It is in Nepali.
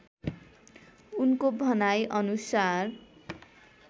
उनको भनाइ अनुसार